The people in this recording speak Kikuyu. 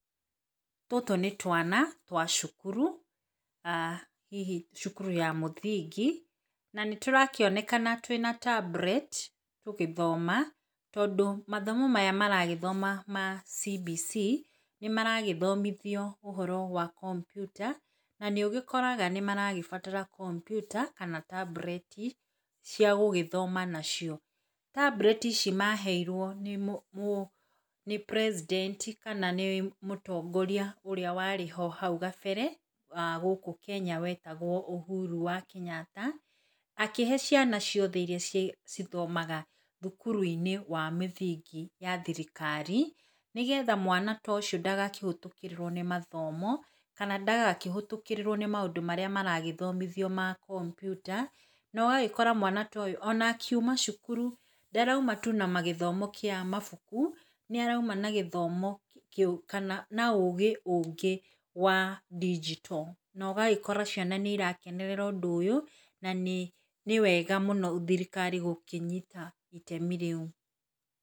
Tũtũ nĩ twana twa cukuru, hihi cukuru ya mũthingi, na nĩ tũrakĩonekana twĩna tablet, tũgĩthoma, tondũ mathomo maya maragĩthoma ma CBC, nĩ maragĩthomithio ũhoro wa kompyuta, na nĩ ũgĩkoraga nĩmaragĩbatara kompyuta, kana tablet, cia gũgĩthoma nacio. Tablet, ici maheirwo nĩ mũ mũ nĩ president, kana nĩ mũtongoria ũrĩa warĩ ho hau gabere, gũkũ Kenya wetagwo Ũhuru wa kenyatta, akĩhe ciana ciothe iria cĩ cithomaga thukuru-inĩ wa mĩthingi ya thirikari, nĩ getha mwana tũcio ndagakĩhetũkĩrĩrwo nĩ mathomo, kana ndagakĩhetũkĩrĩrwo nĩ maũndũ marĩa maragĩthomithio ma kompyuta, na ũgagĩkora mwana toyũ ona akiuma cukuru, ndaraima tu na magĩthomo kĩa mabuku, nĩ araima na gĩthomo kĩu, kana na ũgĩ ũngĩ wa ndigito, no ũgagĩkora ciana nĩ irakenerera ũndũ ũyũ, na nĩ nĩ wega mũno thirikari gũkĩnyita itemi rĩu.